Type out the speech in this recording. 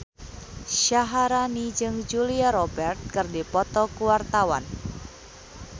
Syaharani jeung Julia Robert keur dipoto ku wartawan